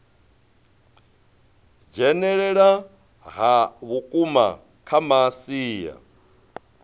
dzhenelela ha vhukuma kha masia